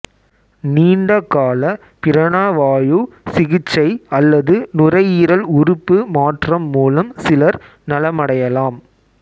நீண்ட கால பிராணவாயு சிகிச்சை அல்லது நுரையீரல் உறுப்பு மாற்றம் மூலம் சிலர் நலமடையலாம்